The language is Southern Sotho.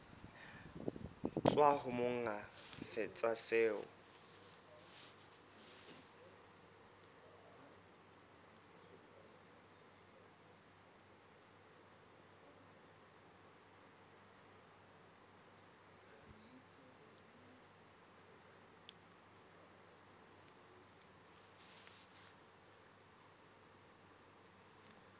tswa ho monga setsha seo